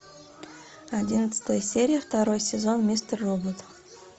одиннадцатая серия второй сезон мистер робот